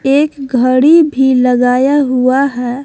एक घड़ी भी लगाया हुआ है।